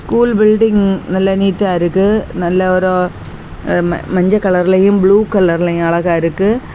School building நல்லா நீட்டா இருக்கு நல்ல ஒரு மஞ்ச கலர்லயும் புளு கலர்லயும் அழகா இருக்கு.